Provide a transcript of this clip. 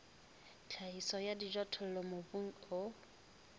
tlhahiso ya dijothollo mobung o